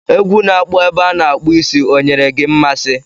Egwu na-akpọ ebe a a na-akpụ isi ọ nyere gị mmasị